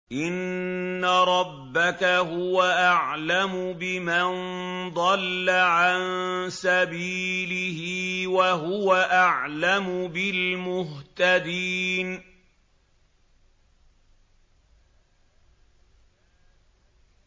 إِنَّ رَبَّكَ هُوَ أَعْلَمُ بِمَن ضَلَّ عَن سَبِيلِهِ وَهُوَ أَعْلَمُ بِالْمُهْتَدِينَ